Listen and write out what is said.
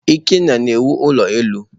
Ikenna na-awụ ulo elu.